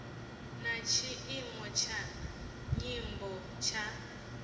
na tshiimo tsha nyambo tsha